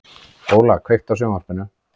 Óla, kveiktu á sjónvarpinu.